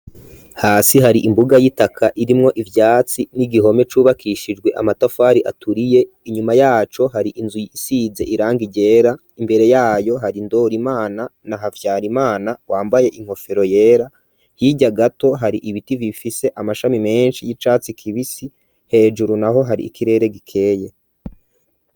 Hasi, hari imbuga y'itaka, irimwo ivyatsi, n'igihome cubakishijwe, amatafari aturiye; inyuma yaco, hari inzu, isize irangi ryera; imbere yayo, hari Ndorimana na Havyarimana, wambaye inkofero yera; hirya gato, hari ibiti, bifise amashami menshi, y'icatsi kibisi; hejuru naho, hari ikirere gikeye.